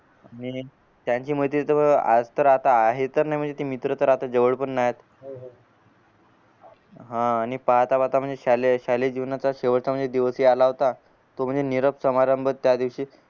त्यांची मैत्री अह आज तर आता हे तर नाय ते मित्र तर आता जवळ पण येत ह आणि पाहता पाहता शालेय शालेय जीवनाचा शेवटचा म्हणजे दिवसही आला होता तो म्हणजे निरोप समारंभ त्यादिवशी